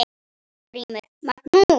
GRÍMUR: Magnús!